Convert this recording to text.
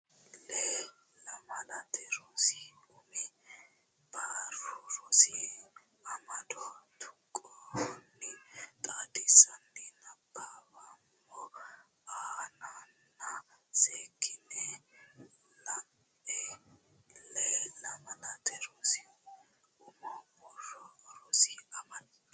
Lee Lamalate Rosi Umo Barru rosi amado tuqqonni xaadisanni nabbaweemmo a nenna seekkitine la e Lee Lamalate Rosi Umo Barru rosi amado.